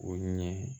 O ɲɛ